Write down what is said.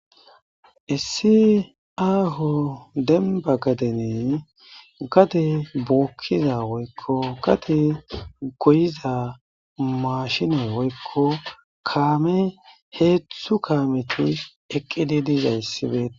Issi aho dembba gaden gade goyiza mashiney woyko kaamey hedzdzu kasmeti eqidi dizayssi betes.